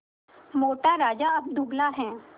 मोटा राजा अब दुबला है